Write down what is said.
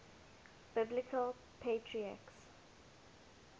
biblical patriarchs